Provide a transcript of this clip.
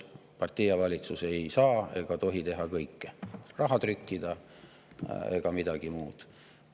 Partei ja valitsus ei saa ega tohi teha kõike, ei raha trükkida ega midagi muud.